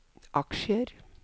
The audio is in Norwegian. aksjer